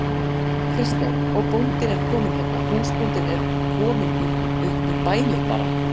Kristján: Og bóndinn er kominn hérna, húsbóndinn er kominn upp í bælið bara?